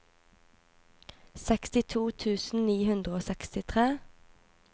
sekstito tusen ni hundre og sekstitre